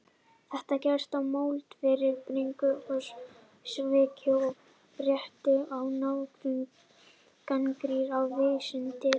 Þetta gerist í moldviðri brigslyrða um svik og pretti og háværri gagnrýni á vísindin.